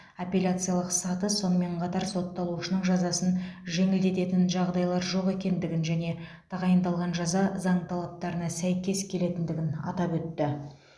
апелляциялық саты сонымен қатар сотталушының жазасын жеңілдететін жағдайлар жоқ екендігін және тағайындалған жаза заң талаптарына сәйкес келетіндігін атап өтті